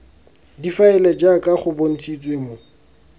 difaele jaaka go bontshitswe mo